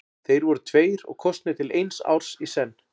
Þeir voru tveir og kosnir til eins árs í senn.